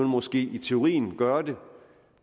måske i teorien gøre det